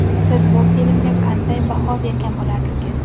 Siz bu filmga qanday baho bergan bo‘lardingiz?